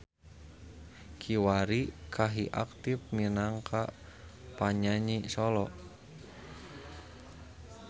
Kiwari Kahi aktif minangka panyanyi solo.